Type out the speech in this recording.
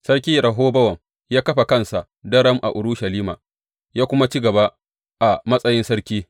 Sarki Rehobowam ya kafa kansa daram a Urushalima, ya kuma ci gaba a matsayin sarki.